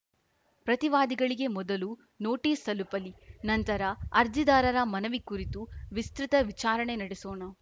ಪ್ರತಿವಾದಿಗಳಿಗೆ ಮೊದಲು ನೋಟಿಸ್‌ ತಲುಪಲಿ ನಂತರ ಅರ್ಜಿದಾರರ ಮನವಿ ಕುರಿತು ವಿಸ್ತೃತ ವಿಚಾರಣೆ ನಡೆಸೋಣ